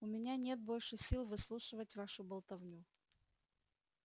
у меня нет больше сил выслушивать вашу болтовню